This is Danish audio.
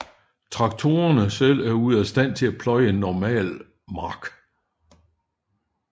Traktorerne selv er ude af stand til at pløje en normal mark